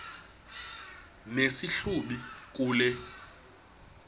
nesi hlubi kule